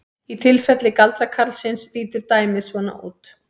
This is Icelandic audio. Í tilfelli galdrakarlsins lítur dæmið svona út: